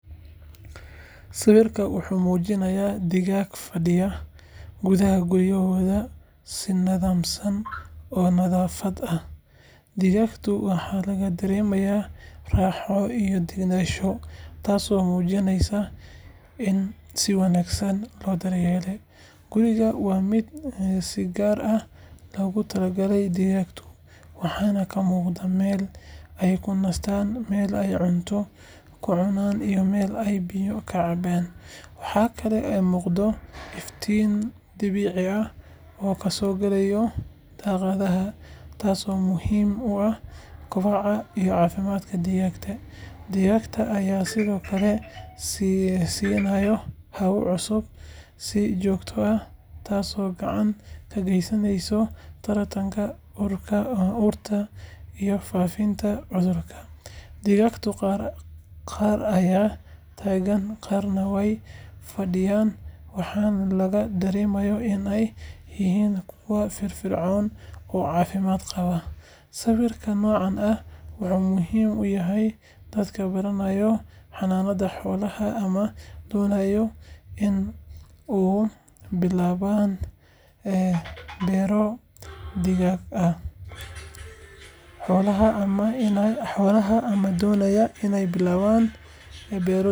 Waxaan arkay sawir runtii soo jiidasho leh oo muujinaya digaag ku jira gurigooda si habsami leh u dhisan. Digaaggaas waxay ku jiraan meel nadiif ah oo ay ku jiraan dhagaxyo yar yar iyo caws jilicsan oo gogol u ah. Midabkooda ayaa dhalaalaya, baalashooda waa nadiif oo si fiican loo daryeelay. Waxaa muuqata in dadka leh digaaggani ay aad uga taxadaraan nadaafaddooda iyo caafimaadkooda. Waxaa yaab leh sida ay u ekaayeen kuwo deggan, mid walba wuxuu leeyahay boos u gaar ah oo uu ku nasto. Waxa kale oo muuqata in biyaha iyo cuntada la dhigay meel la gaari karo si ay si fudud u helaan. Digaagga qaarkood waxay taagan yihiin, qaarna way fadhiyan oo baalashooda isugu duuban yihiin si ay u nastaan. Guriga digaagga lagu hayo wuxuu leeyahay daaqado yaryar oo neefsi fiican u oggolaanaya.